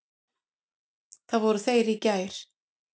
Þar voru þeir í gær.